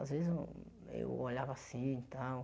Às vezes eu eu olhava assim e tal.